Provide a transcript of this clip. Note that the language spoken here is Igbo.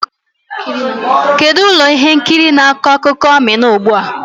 Kedu ụlọ ihe nkiri bụ akụkọ akụkọ Amina ugbu a?